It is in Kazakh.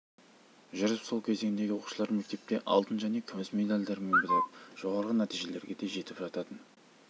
жүріп сол кезеңдегі оқушылар мектепте алтын және күміс медальдармен бітіріп жоғарғы нәтижелерге де жетіп жататыны